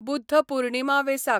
Buddha पुर्णिमावेसाक